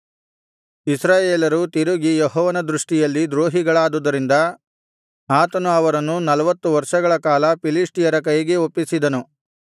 ಇಸ್ರಾಯೇಲರು ತಿರುಗಿ ಯೆಹೋವನ ದೃಷ್ಟಿಯಲ್ಲಿ ದ್ರೋಹಿಗಳಾದುದರಿಂದ ಆತನು ಅವರನ್ನು ನಲ್ವತ್ತು ವರ್ಷಗಳ ಕಾಲ ಫಿಲಿಷ್ಟಿಯರ ಕೈಗೆ ಒಪ್ಪಿಸಿದನು